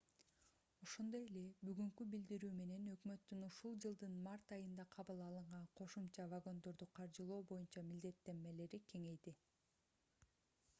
ошондой эле бүгүнкү билдирүү менен өкмөттүн ушул жылдын март айында кабыл алынган кошумча вагондорду каржылоо боюнча милдеттенмелери кеңейди